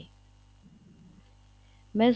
ਮੈਂ